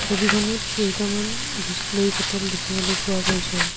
ছবিখনত কেইটামান বিচলেৰী বটল দেখিবলৈ পোৱা গৈছে।